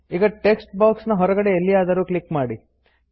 ಈಗ text box ನ ಹೊರಗೆಡೆ ಎಲ್ಲಿಯಾದರೂ ಕ್ಲಿಕ್ ಮಾಡಿ